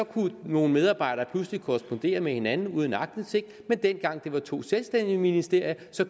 kunne nogle medarbejdere pludselig korrespondere med hinanden uden aktindsigt men dengang det var to selvstændige ministerier